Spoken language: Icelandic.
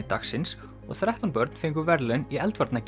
dagsins og þrettán börn fengu verðlaun í